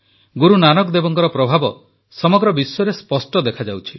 ଗୁରୁ ନାନକ ଦେବଙ୍କର ପ୍ରଭାବ ସମଗ୍ର ବିଶ୍ୱରେ ସ୍ପଷ୍ଟ ଦେଖାଯାଉଛି